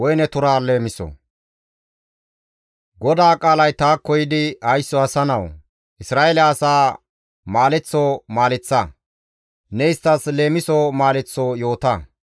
«Haysso asa nawu! Isra7eele asaa maaleththo maaleththa; ne isttas leemison maaleththo yoota.